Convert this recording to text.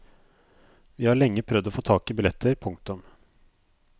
Vi har lenge prøvd å få tak i billetter. punktum